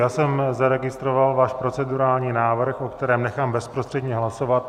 Já jsem zaregistroval váš procedurální návrh, o kterém nechám bezprostředně hlasovat.